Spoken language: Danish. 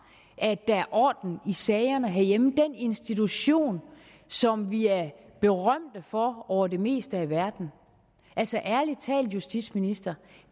at der er orden i sagerne herhjemme den institution som vi er berømte for over det meste af verden altså ærlig til justitsministeren